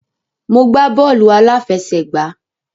Mo gbá bọ́ọ̀lù àláfẹsẹ̀gbá.